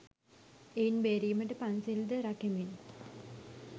එයින් බේරීමට පන්සිල්ද රකිමින්